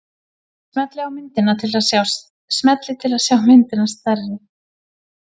Smellið til að sjá myndina stærri.